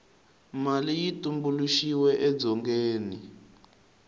mali yi tumbuluxiwe edzongeni